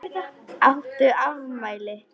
Áttu afmæli?